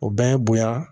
O bɛ ye bonya